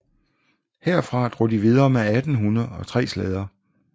Herfra drog de videre med 18 hunde og tre slæder